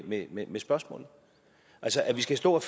med med spørgsmålet altså at vi skal stå og